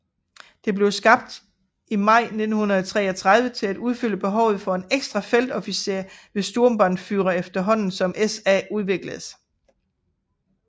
Det blev skabt i maj 1933 til at udfylde behovet for en ekstra feltofficer over Sturmbannführer efterhånden som SA udvikledes